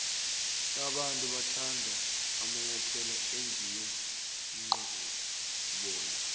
abantu bathanda amanyathelo enziwe nqoboya